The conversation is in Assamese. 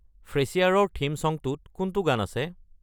ফ্ৰেছিয়াৰৰ থীম ছংটোত কোনটো গান আছে